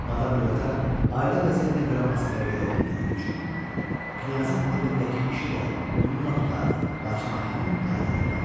Madam Lyotar ailə vəziyyətinə görə Moskvaya gedə bilmədiyi üçün knyazın evindəki işi də bununla qurtardı, lakin o həmin ailədə qaldı.